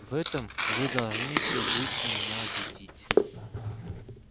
в этом вы должны ещё будете меня убедить